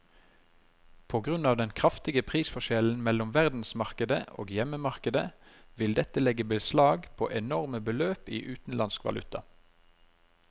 På grunn av den kraftige prisforskjellen mellom verdensmarkedet og hjemmemarkedet vil dette legge beslag på enorme beløp i utenlandsk valuta.